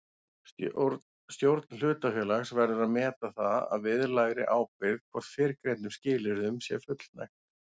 Stjórn hlutafélags verður að meta það að viðlagðri ábyrgð hvort fyrrgreindum skilyrðum sé fullnægt.